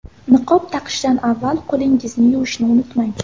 Niqob taqishdan avval qo‘lingizni yuvishni unutmang!